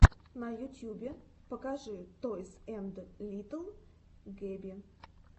на ютьюбе покажи тойс энд литтл гэби